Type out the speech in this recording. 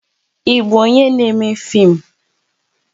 Ị bụ onyé n'émé fim